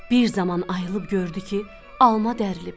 Bir zaman ayılıb gördü ki, alma dərlib.